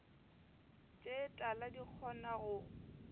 tše tala di kgona go